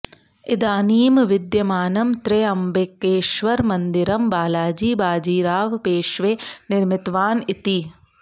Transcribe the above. इदानीं विद्यमानं त्र्यम्बकेश्वरमन्दिरं बालाजी बाजीराव् पेश्वे निर्मितवान् इति